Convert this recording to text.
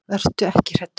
Vertu ekki hræddur.